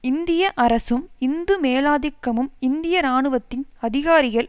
இந்திய அரசும் இந்து மேலாதிக்கமும் இந்திய இராணுவத்தின் அதிகாரிகள்